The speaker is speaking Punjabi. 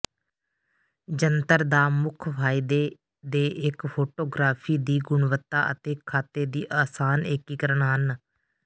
ਜੰਤਰ ਦਾ ਮੁੱਖ ਫਾਇਦੇ ਦੇ ਇੱਕ ਫੋਟੋਗਰਾਫੀ ਦੀ ਗੁਣਵੱਤਾ ਅਤੇ ਖਾਤੇ ਦੀ ਆਸਾਨ ਏਕੀਕਰਨ ਹਨ